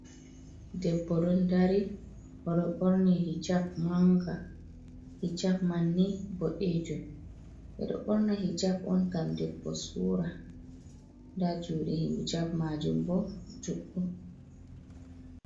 Debbo ɗon dari, o ɗo ɓorni hijap mannga, hijap man ni boɗeejum ɓe ɗo ɓorna hijap on ngam debbo suura, nda juuɗe hijap maajum bo juɗɗum.